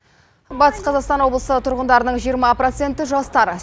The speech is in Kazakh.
батыс қазақстан облысы тұрғындарының жиырма проценті жастар